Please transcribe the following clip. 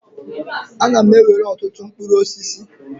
A na m ewere ọtụtụ mkpụrụ osisi.